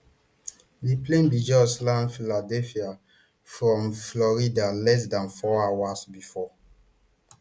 di plane bin just land philadelphia from florida less dan four hours bifor